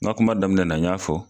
N ga kuma daminɛna n y'a fɔ